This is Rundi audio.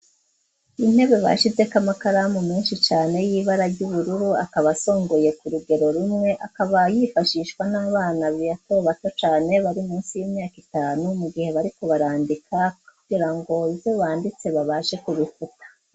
Intebe bashizek amakaramu menshi cane y'ibara ry'ubururu akaba asongoye ku rugero rumwe akaba yifashishwa n'abana bato bato cane bari munsi y'imyaka itanu mu gihe bariko barandika kugirango ivyo banditse babashe kubifuta.